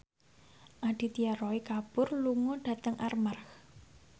Aditya Roy Kapoor lunga dhateng Armargh